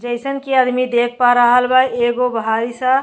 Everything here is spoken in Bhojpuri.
जइसन के आदमी देख पा रहल एगो भाई साहब --